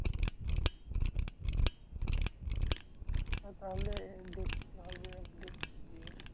হ্যাঁ তাহলে এর দেখতে হবে একদিন গিয়ে।